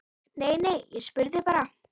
Nei, nei, ég spurði bara